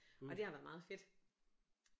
Og det har været meget fedt